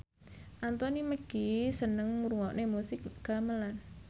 Anthony Mackie seneng ngrungokne musik gamelan